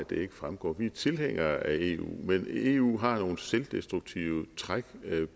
det ikke fremgår vi er tilhængere af eu men eu har nogle selvdestruktive træk